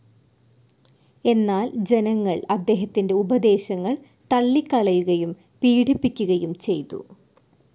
എന്നാൽ ജനങ്ങൾ അദ്ദേഹത്തിൻ്റെ ഉപദേശങ്ങൾ തള്ളിക്കളയുകയും പീഡിപ്പിക്കുകയും ചെയ്തു..